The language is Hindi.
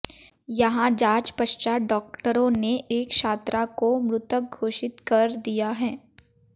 यहां जांच पश्चात डॉक्टरों ने एक छात्रा को मृत घोषित कर दिया